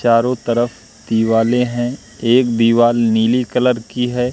चारो तरफ दिवाले हैं एक दीवाल नीली कलर की है।